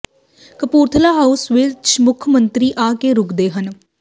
Kapurthala house ਵਿੱਚ ਮੁੱਖ ਮੰਤਰੀ ਆ ਕੇ ਰੁਕਦੇ ਹਨ